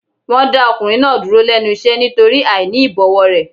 Wọn dá ọkùnrin náà dúró lẹ́nu iṣẹ́ nítorí àìní ìbọ̀wọ̀ rẹ̀.